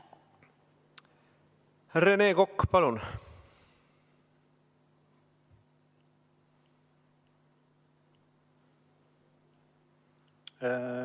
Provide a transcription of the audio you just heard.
Rene Kokk, palun!